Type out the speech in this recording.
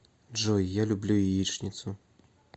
джой я люблю яичницу